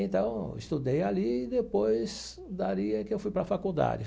Então, estudei ali e depois dali que eu fui para a faculdade.